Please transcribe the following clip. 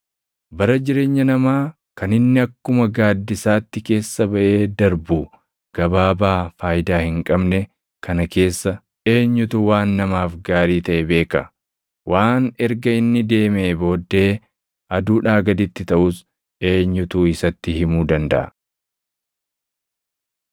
Bara jireenya namaa kan inni akkuma gaaddisaatti keessa baʼee darbu gabaabaa faayidaa hin qabne kana keessa eenyutu waan namaaf gaarii taʼe beeka? Waan erga inni deemee booddee aduudhaa gaditti taʼus eenyutu isatti himuu dandaʼa?